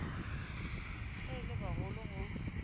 ge e le bagolo go